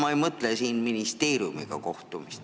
Ma ei mõtle siin ministeeriumiga kohtumist.